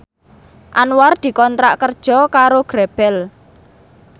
Anwar dikontrak kerja karo Grebel